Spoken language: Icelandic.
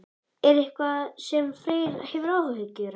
Er það eitthvað sem Freyr hefur áhyggjur af?